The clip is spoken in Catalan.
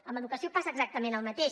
en educació passa exactament el mateix